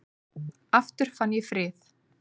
Aftur fann ég frið.